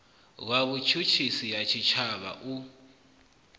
wa vhutshutshisi ha tshitshavha u